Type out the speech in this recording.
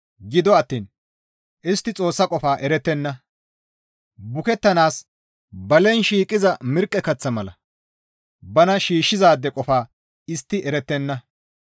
Gido attiin istti Xoossa qofa erettenna; bukettanaas balen shiiqiza mirqqe kaththa mala bana shiishshizaade qofa istti erettenna.